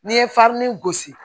N'i ye farini gosi